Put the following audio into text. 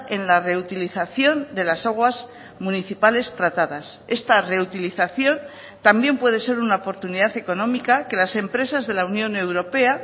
en la reutilización de las aguas municipales tratadas esta reutilización también puede ser una oportunidad económica que las empresas de la unión europea